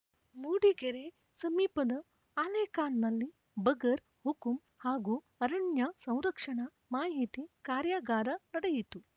ಮೂಡಿಗೆರೆ ಸಮೀಪದ ಆಲೇಕಾನ್‌ನಲ್ಲಿ ಬಗರ್‌ ಹುಕುಂ ಹಾಗೂ ಅರಣ್ಯ ಸಂರಕ್ಷಣಾ ಮಾಹಿತಿ ಕಾರ್ಯಾಗಾರ ನಡೆಯಿತು